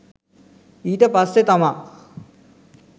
ඊට පස්සේ තමා